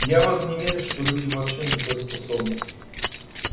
я вот не верю что люди вообще на такое способны